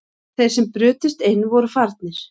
Þeir sem brutust inn voru farnir